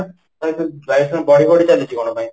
ବାୟୁ ପ୍ରଦୂଷଣ ବଢି ବଢି ଚାଲିଛି କ'ଣ ପାଇଁ ?